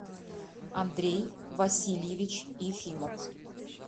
андрей васильевич ефимов